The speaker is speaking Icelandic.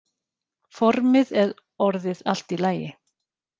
Formið er orðið allt í lagi.